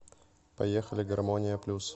поехали гармония плюс